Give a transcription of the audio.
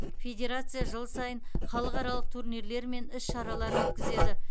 федерация жыл сайын халықаралық турнирлер мен іс шаралар өткізеді